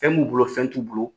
Fɛn m'u bolo, fɛn t'u bolo